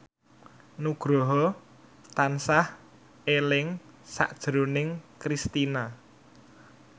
Nugroho tansah eling sakjroning Kristina